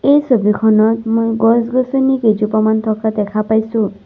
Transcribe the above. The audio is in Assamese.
এই ছবিখনত মই গছ-গছনি কেইজোপামান থকা দেখা পাইছোঁ।